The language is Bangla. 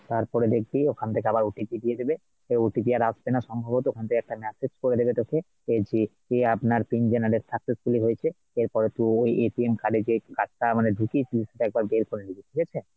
তারপরে দেখবি ওখান থেকে আবার OTP দিয়ে দেবে, সেই OTP আর আসবে না সম্ভবত ওখান থেকে একটা message করে দেবে তোকে এই যে যে আপনার pin generate successfully হয়েছে এরপরে, তুই ওই card এ যে card টা মানে ঢুকিয়েছিলিস সেটা বের করে নিবি ঠিক আছে।